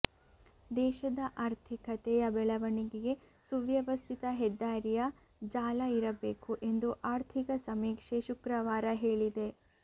ದೇಶದ ಆರ್ಥಿಕತೆಯ ಬೆಳವಣಿಗೆಗೆ ಸುವ್ಯವಸ್ಥಿತ ಹೆದ್ದಾರಿಯ ಜಾಲ ಇರಬೇಕು ಎಂದು ಆರ್ಥಿಕ ಸಮೀಕ್ಷೆ ಶುಕ್ರವಾರ ಹೇಳಿದೆ